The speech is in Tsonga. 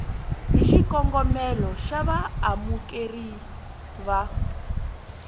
hi xikongomelo xa vaamukeri va